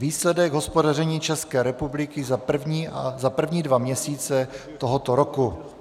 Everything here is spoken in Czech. Výsledek hospodaření České republiky za první dva měsíce tohoto roku.